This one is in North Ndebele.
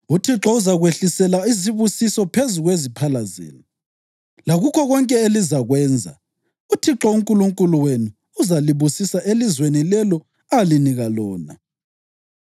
UThixo uzakwehlisela isibusiso phezu kweziphala zenu, lakukho konke elizakwenza. UThixo uNkulunkulu wenu uzalibusisa elizweni lelo alinika lona.